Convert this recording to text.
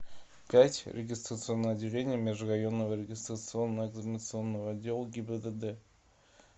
пять регистрационное отделение межрайонного регистрационно экзаменационного отдела гибдд